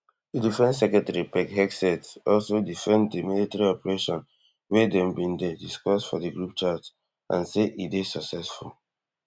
di defence secretary pete hegseth also defend di military operation wey dem bin dey discuss for di group chat and say e dey successful